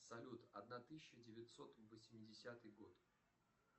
салют одна тысяча девятьсот восьмидесятый год